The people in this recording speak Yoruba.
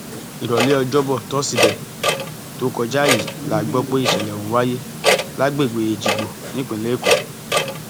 ìrọlẹ ọjọbọ tọsídẹẹ tó kọjá yìí la gbọ pé ìṣẹlẹ ọhún wáyé lágbègbè èjìgbò nípìnlẹ èkó